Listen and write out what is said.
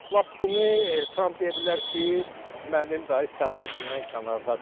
Və lap bunu Tramp deyə bilər ki, mənim daha səlahiyyətimdən kənardadır.